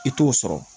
I t'o sɔrɔ